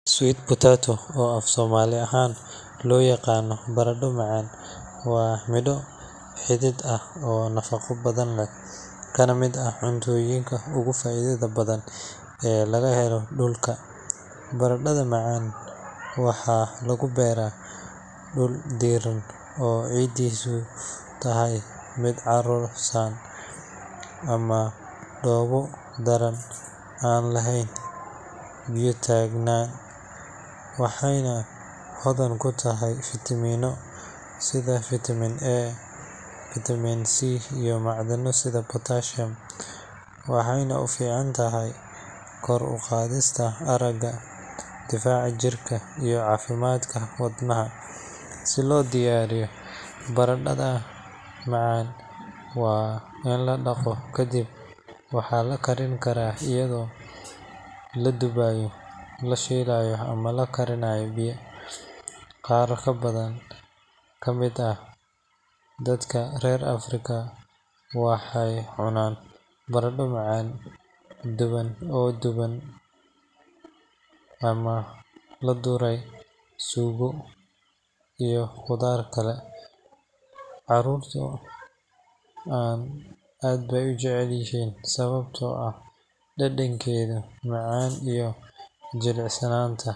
Sweet potato oo af somali ahan loyaqano barado macan wa miro xidhid ahh oo nafaqo badhan leh kanamid ahh cuntoyinka ugu faidhadha badhan ee lagahelo dulka, baradadha macan waxa lagubera dul diran oocidisu tahay mid carusan ama dobo daran an laheyn ?tagna waxeyna hodhan kutahay vitamino sidha vitaminA, vitaminC iyo macdhano sidha pottasium, waxeyna uficantahay koruqadhista araga, difaca jirka iyo cafimadka wadnaha, si lodiyariyo baradadha macan wa inladaqo kadib waxa lakarin kara ayadho ladubayo, lashilayo ama lakarinayo biyo, qar kamid ahh dadka rer africa waxey cunan barado macan oo duban, amah lagudaray sugo ama qudhar kale, carurta ad bey ujeclyihin sawabtoah dadankedha macan iyo jilicsananta.